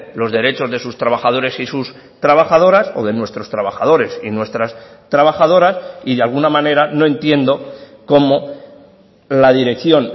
los derechos de sus trabajadores y sus trabajadoras o de nuestros trabajadores y nuestras trabajadoras y de alguna manera no entiendo cómo la dirección